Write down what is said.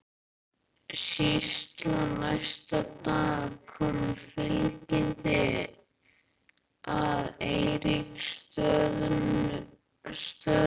Síðla næsta dag kom fylkingin að Eiríksstöðum.